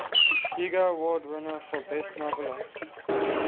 hugo award winner for best novella